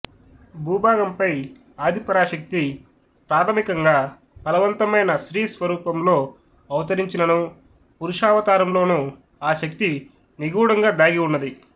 భూభాగం పై ఆది పరాశక్తి ప్రాథమికంగా ఫలవంతమైన స్త్రీ స్వరూపంలో అవతరించిననూ పురుషావతారంలోనూ ఆ శక్తి నిగూఢంగా దాగి ఉన్నది